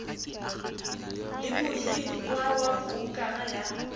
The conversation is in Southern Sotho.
le mohirwa wa broukara ya